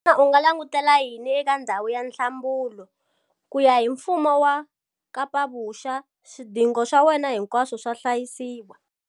Xana u nga langutela yini eka ndhawu ya nhlambulo? Kuya hi Mfumo wa KapaVuxa, swidingo swa wena hinkwaswo swa hlayisiwa.